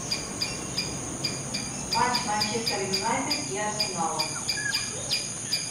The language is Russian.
матч манчестер юнайтед и арсенала